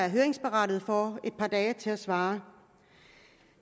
høringsberettigede et par dage til at svare